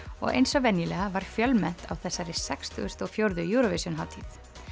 og eins og venjulega var fjölmennt á þessari sextugustu og fjórðu Eurovision hátíð